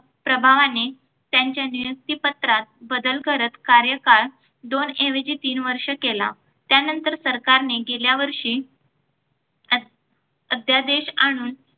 प्रभावाने त्यांच्या नियुक्तीपत्रात बदल करत कार्यकाळ दोन ऐवजी तीन वर्ष केला. त्यानंतर सरकारने गेल्यावर्षी अध्य अध्यादेश आणून